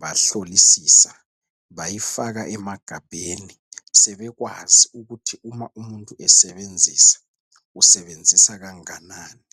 bahlolisisa bayifaka emagabheni. Sebekwazi ukuthi uma umuntu esebenzisa useenzisa kanganani.